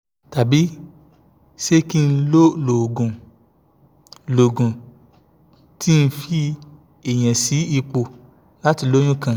tabi se ki n lo oogun n lo oogun ti n fi eniyan si ipo lati loyun kan